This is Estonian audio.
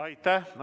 Aitäh!